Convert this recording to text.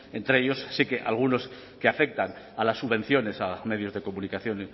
entre ellos sí que algunos que afectan a las subvenciones a medios de comunicación